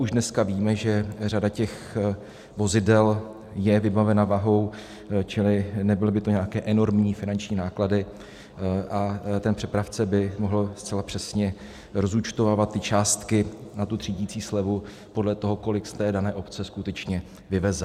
Už dneska víme, že řada těch vozidel je vybavena váhou, čili nebyly by to nějaké enormní finanční náklady a ten přepravce by mohl zcela přesně rozúčtovávat ty částky na tu třídicí slevu podle toho, kolik z té dané obce skutečně vyveze.